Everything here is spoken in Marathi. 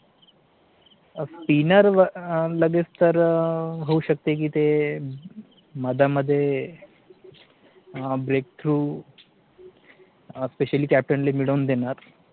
SPINNER लगेच तर होऊ शकते कि ते मध्ये मध्ये break through SPECIALLY captain ला मिळवून देणार